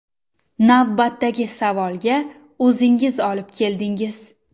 Navbatdagi savolga o‘zingiz olib keldingiz.